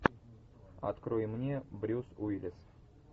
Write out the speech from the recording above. открой мне брюс уиллис